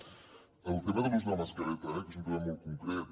el tema de l’ús de la mascareta eh que és un tema molt concret